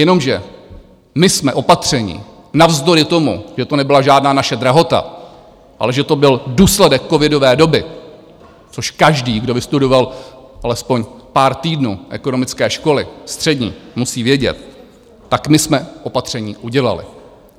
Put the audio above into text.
Jenomže my jsme opatření navzdory tomu, že to nebyla žádná naše drahota, ale že to byl důsledek covidové doby, což každý, kdo vystudoval alespoň pár týdnů ekonomické školy střední, musí vědět, tak my jsme opatření udělali.